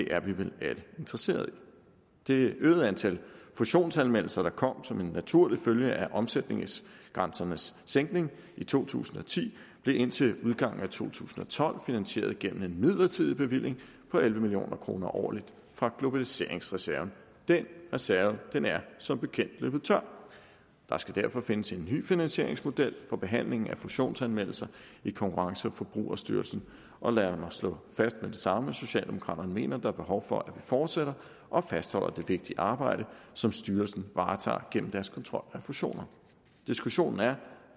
er vi vel alle interesserede i det øgede antal fusionsanmeldelser der kom som en naturlig følge af omsætningsgrænsernes sænkning i to tusind og ti blev indtil udgangen af to tusind og tolv finansieret gennem en midlertidig bevilling på elleve million kroner årligt fra globaliseringsreserven den reserve er som bekendt løbet tør der skal derfor findes en ny finansieringsmodel for behandlingen af fusionsanmeldelser i konkurrence og forbrugerstyrelsen og lad mig slå fast med det samme at socialdemokraterne mener at der er behov for at vi fortsætter og fastholder det vigtige arbejde som styrelsen varetager gennem deres kontrol af fusioner diskussionen er